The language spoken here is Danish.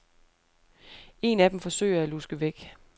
En af dem forsøger at luske væk.